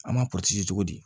An m'a cogo di